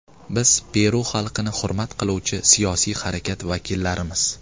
Biz Peru xalqini hurmat qiluvchi siyosiy harakat vakillarimiz.